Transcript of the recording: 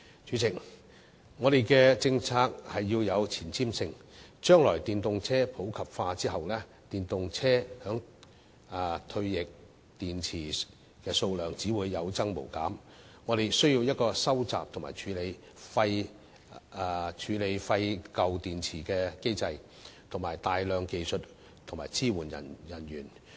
主席，我們的政策要有前瞻性，將來當電動車普及後，電動車的退役電池數量只會有增無減，我們需要一個收集和處理廢舊電池的機制及大量技術支援人員。